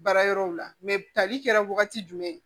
Baara yɔrɔw la tali kɛra wagati jumɛn